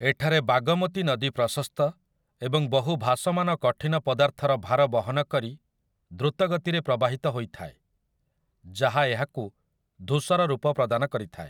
ଏଠାରେ ବାଗମତି ନଦୀ ପ୍ରଶସ୍ତ ଏବଂ ବହୁ ଭାସମାନ କଠିନ ପଦାର୍ଥର ଭାର ବହନ କରି ଦ୍ରୁତ ଗତିରେ ପ୍ରବାହିତ ହୋଇଥାଏ, ଯାହା ଏହାକୁ ଧୂସର ରୂପ ପ୍ରଦାନ କରିଥାଏ ।